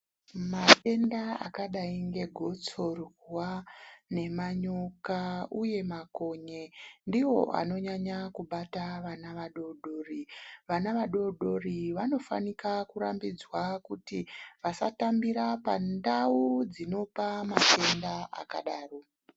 Matenda akadai ngegotsorwa nemanyoka, uye makonye ndivo anonyanya kubata vana vadodori, Vana vadodori vanofanika kurambidzwa kuti vasatambira pandau dzinopa matenda akadaro.